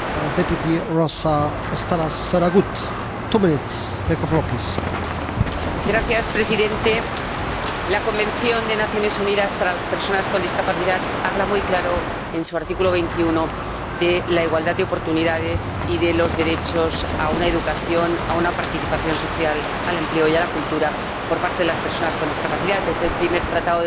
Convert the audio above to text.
Señor Presidente, la Convención de las Naciones Unidas sobre los Derechos de las Personas con Discapacidad habla muy claro, en su artículo 21, de la igualdad de oportunidades y de los derechos a la educación, a la participación social, al empleo y a la cultura por parte de las personas con discapacidad. Es el primer tratado de derechos humanos firmado y ratificado por la Unión Europea.